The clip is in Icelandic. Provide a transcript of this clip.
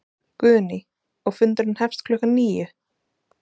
Guðný: Og fundurinn hefst klukkan níu?